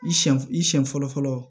I siɲɛ i siɲɛ fɔlɔ fɔlɔ